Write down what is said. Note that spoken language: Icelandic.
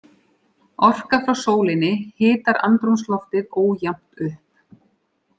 Orka frá sólinni hitar andrúmsloftið ójafnt upp.